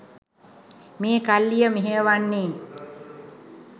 මේ කල්ලිය මෙහෙයවන්නේ.